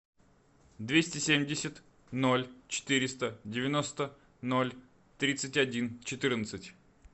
двести семьдесят ноль четыреста девяносто ноль тридцать один четырнадцать